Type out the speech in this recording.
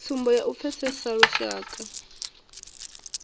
tsumbo ya u pfesesa lushaka